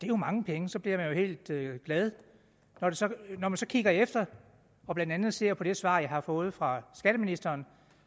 jo mange penge så bliver man jo helt glad når man så kigger efter og blandt andet ser på det svar jeg har fået fra skatteministeren